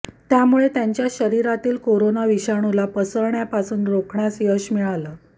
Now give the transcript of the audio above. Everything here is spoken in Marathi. त्यामुळे त्यांच्या शरीरातील कोरोना विषाणूला पसरण्यासापासून रोखण्यास यश मिळालं